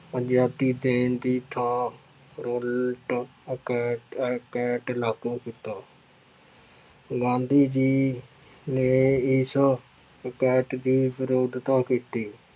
ਆਜ਼ਾਦੀ ਦੇਣ ਦੀ ਥਾਂ ਉੱਲਟ ਅਕੈਟ ਅਕੈਟ ਲਾਗੂ ਕੀਤਾ ਗਾਂਧੀ ਜੀ ਨੇ ਇਸ ਅਕੈਟ ਦੀ ਵਿਰੋਧਤਾ ਕੀਤੀ।